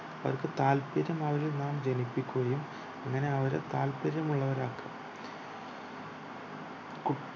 അവർക്കു താല്പര്യം നാം ജനിപ്പിക്കുയും അങ്ങനെ അവരെ താല്പര്യമുള്ളർ ആകുക കുട്